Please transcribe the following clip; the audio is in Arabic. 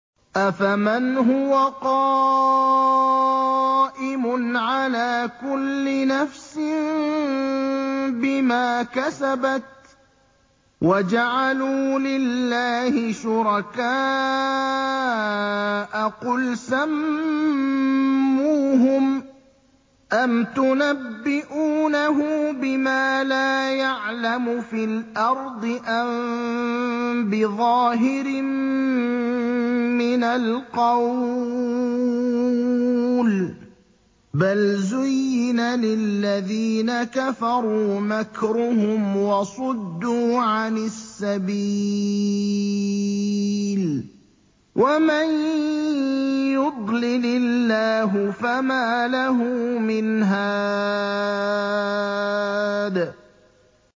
أَفَمَنْ هُوَ قَائِمٌ عَلَىٰ كُلِّ نَفْسٍ بِمَا كَسَبَتْ ۗ وَجَعَلُوا لِلَّهِ شُرَكَاءَ قُلْ سَمُّوهُمْ ۚ أَمْ تُنَبِّئُونَهُ بِمَا لَا يَعْلَمُ فِي الْأَرْضِ أَم بِظَاهِرٍ مِّنَ الْقَوْلِ ۗ بَلْ زُيِّنَ لِلَّذِينَ كَفَرُوا مَكْرُهُمْ وَصُدُّوا عَنِ السَّبِيلِ ۗ وَمَن يُضْلِلِ اللَّهُ فَمَا لَهُ مِنْ هَادٍ